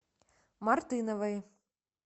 мартыновой